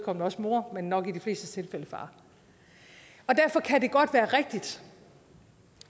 også mor men nok i de flestes tilfælde far derfor kan det godt være rigtigt